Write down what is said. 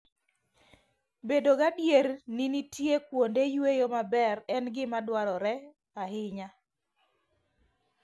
Bedo gadier ni nitie kuonde yueyo maber en gima dwarore ahinya.